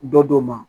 Dɔ do ma